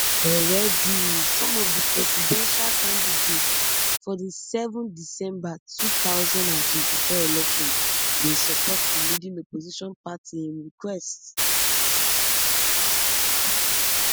already some of di presidential candidates for di seven december two thousand and twenty-four election bin support di leading opposition party im request